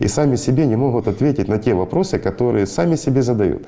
и сами себе не могут ответить на те вопросы которые сами себе задают